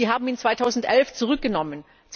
Sie haben ihn 2011 zurückgenommen.